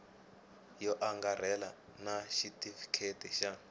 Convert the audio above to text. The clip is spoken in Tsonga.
yo angarhela na xitifiketi xa